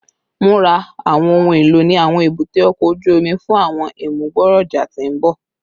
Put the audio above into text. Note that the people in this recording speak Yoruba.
Mura awọn ohun elo ni awọn ebute oko oju omi fun awọn imugboroja ti n bọ